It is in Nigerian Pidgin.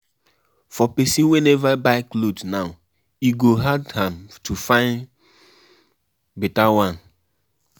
For Pesin wey never buy cloth now e go hard am to fyn beta one